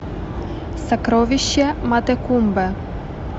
сокровища матекумбе